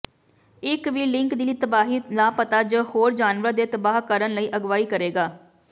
ਇਕ ਵੀ ਲਿੰਕ ਦੀ ਤਬਾਹੀ ਲਾਪਤਾ ਜ ਹੋਰ ਜਾਨਵਰ ਦੇ ਤਬਾਹ ਕਰਨ ਲਈ ਅਗਵਾਈ ਕਰੇਗਾ